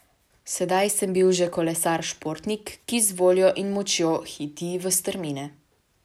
Sedaj sem bil že kolesar športnik, ki z voljo in močjo hiti v strmine.